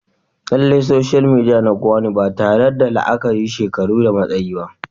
Lallai soshal midiya na kowa ne ba tare da la'akari da shekaru da matsayi ba